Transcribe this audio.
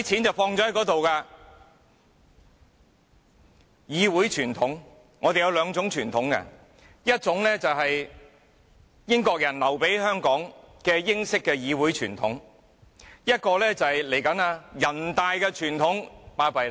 說到議會傳統，我們有兩種傳統，一種是英國人留給香港的英式議會傳統，另一種就是人大傳統。